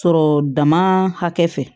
Sɔrɔ dama hakɛ fɛ